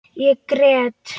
Ég grét.